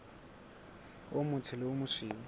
o motsho le o mosweu